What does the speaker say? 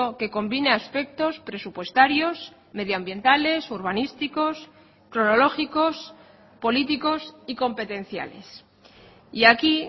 que combine aspectos presupuestarios medioambientales urbanísticos cronológicos políticos y competenciales y aquí